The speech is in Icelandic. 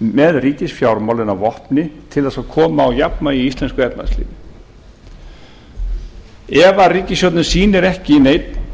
með ríkisfjármálin að vopni til þess að koma á jafnvægi í íslensku efnahagslífi ef ríkisstjórnin sýnir ekki neinn